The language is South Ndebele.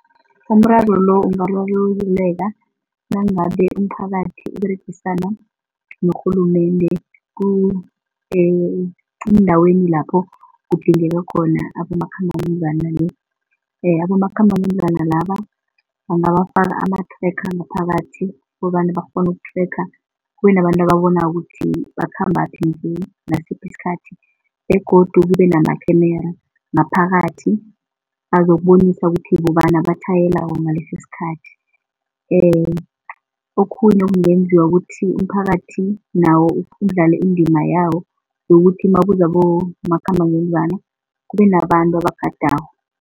Umraro lo ungararululeka nangabe umphakathi uberegisana norhulumende eendaweni lapho kudingeka khona abomakhambangendlwana. Abomakhambangendlwana laba bangafaka ama-tracker ngaphakathi kobana bakghone uku-tracker, kubenabantu ababonako ukuthi bakhambaphi nje ngasiphi isikhathi begodu kube nama-camera ngaphakathi azokubonisa ukuthi bobana abatjhayelako ngalesisikhathi. Okhunye okungenziwa ukuthi umphakathi nawo udlale indima yawo yokuthi nakuza abomakhambangendlwana kube nabantu abagadako.